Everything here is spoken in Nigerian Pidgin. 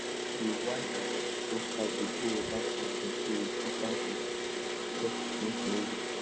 the wide hosepipe dey blow water too strong so we put am for soft mist nozzle